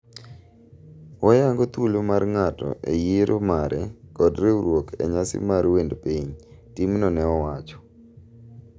"Wayango thuolo mar ng'ato e yiero mare kod riwruok e nyasi mar wend piny", timno ne owacho.